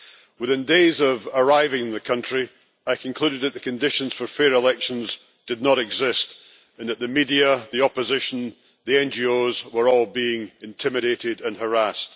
Within days of arriving in the country, I concluded that the conditions for fair elections did not exist and that the media, the opposition and NGOs were all being intimidated and harassed.